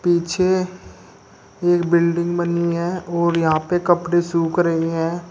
पीछे एक बिल्डिंग बनी हुई है और यहां पे कपड़े सूख रही हैं।